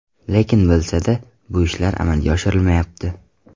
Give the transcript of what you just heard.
Lekin bilsa-da, bu ishlar amalga oshirilmayapti.